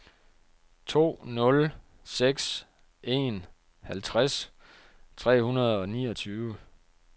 to nul seks en halvtreds tre hundrede og niogtyve